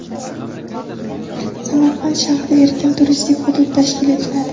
Samarqand shahrida erkin turistik hudud tashkil etiladi.